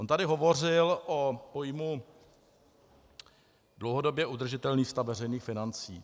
On tady hovořil o pojmu dlouhodobě udržitelný stav veřejných financí.